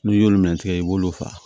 N'i y'olu min tigɛ i b'olu faga